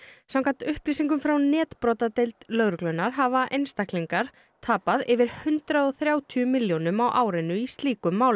samkvæmt upplýsingum frá netbrotadeild lögreglunnar hafa einstaklingar tapað yfir hundrað og þrjátíu milljónum á árinu í slíkum málum